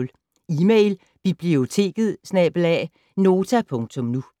Email: biblioteket@nota.nu